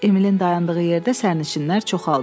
Emilin dayandığı yerdə sərnişinlər çoxaldı.